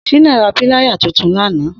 Shina rà pìláyá tùtùn làná